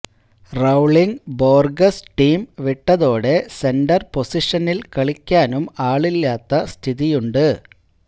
Rowllin Borges team വിട്ടതോടെ centre പൊസിഷനിൽ കളിക്കാനും ആളില്ലാത്ത സ്ഥിതിയുണ്ട്